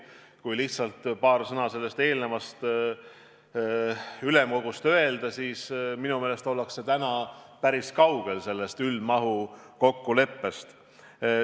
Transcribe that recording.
Kui lihtsalt paar sõna selle eelneva ülemkogu istungi kohta öelda, siis minu meelest ollakse täna päris kaugel sellest üldmahu kokkuleppest.